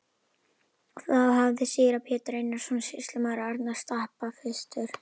Þá hafði síra Pétur Einarsson sýslumaður á Arnarstapa fyrstur